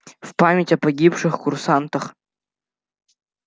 в память о погибших курсантах